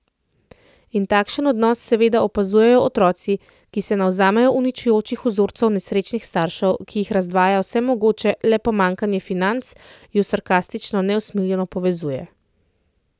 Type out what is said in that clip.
In takšen odnos seveda opazujejo otroci, ki se navzamejo uničujočih vzorcev nesrečnih staršev, ki jih razdvaja vse mogoče, le pomanjkanje financ ju sarkastično neusmiljeno povezuje.